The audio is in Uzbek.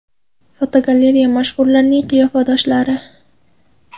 Fotogalereya: Mashhurlarning qiyofadoshlari.